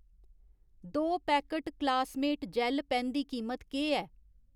दो packet Classmate जैल्ल पैन्न दी कीमत केह् ऐ ?